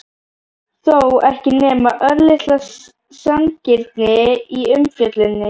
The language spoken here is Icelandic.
þó ekki nema örlitla sanngirni í umfjölluninni?